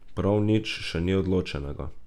Prav nič še ni odločenega.